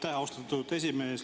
Aitäh, austatud esimees!